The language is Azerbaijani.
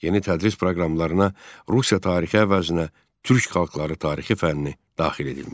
Yeni tədris proqramlarına Rusiya tarixi əvəzinə türk xalqları tarixi fənni daxil edilmişdi.